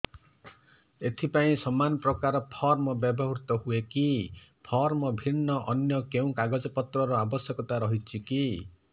ଏଥିପାଇଁ ସମାନପ୍ରକାର ଫର୍ମ ବ୍ୟବହୃତ ହୂଏକି ଫର୍ମ ଭିନ୍ନ ଅନ୍ୟ କେଉଁ କାଗଜପତ୍ରର ଆବଶ୍ୟକତା ରହିଛିକି